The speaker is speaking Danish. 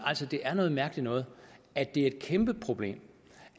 det er noget mærkeligt noget at det er et kæmpe problem